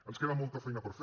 ens queda molta feina per fer